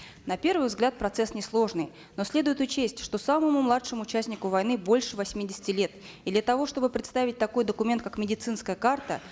на первый взгляд процесс несложный но следует учесть что самому младшему участнику войны больше восьмидесяти лет и для того чтобы предоставить такой документ как медицинская карта